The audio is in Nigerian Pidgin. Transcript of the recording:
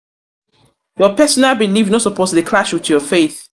your personal belif no suppose dey clash wit your faith.